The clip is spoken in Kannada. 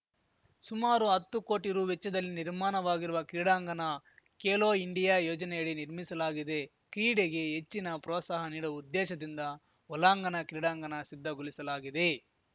ಸುಮಾರು ಹತ್ತು ಕೋಟಿ ರು ವೆಚ್ಚದಲ್ಲಿ ನಿರ್ಮಾನವಾಗಿರುವ ಕ್ರೀಡಾಂಗನ ಖೇಲೋ ಇಂಡಿಯಾ ಯೋಜನೆಯಡಿ ನಿರ್ಮಿಸಲಾಗಿದೆ ಕ್ರೀಡೆಗೆ ಹೆಚ್ಚಿನ ಪ್ರೋತ್ಸಾಹ ನೀಡುವ ಉದ್ದೇಶದಿಂದ ಒಲಾಂಗನ ಕ್ರೀಡಾಂಗನ ಸಿದ್ಧಗೊಲಿಸಲಾಗಿದೆ